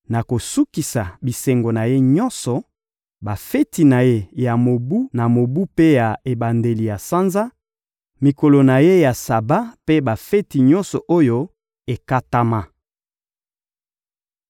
Nakosukisa bisengo na ye nyonso: bafeti na ye ya mobu na mobu mpe ya ebandeli ya sanza, mikolo na ye ya Saba mpe bafeti nyonso oyo ekatama.